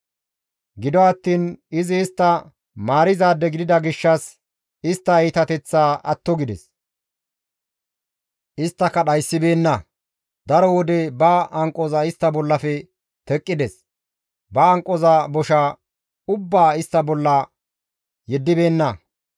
Gido attiin izi istta maarizaade gidida gishshas istta iitateththaa atto gides; isttaka dhayssibeenna; daro wode ba hanqoza istta bollafe teqqides; ba hanqoza bosha ubbaa istta bolla yeddibeenna.